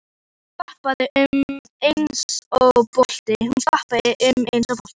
Hún skoppaði um eins og bolti.